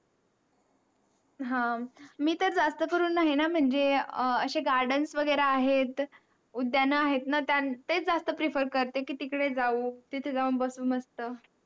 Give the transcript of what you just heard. आह मी तर जास्त करून नाही ना म्हनजे अह असे garden वगैरे आहे. उद्यान आहेत ना ते जास्त Prefer करते तिकडे जाऊ तिथे जाऊन बसून मस्त.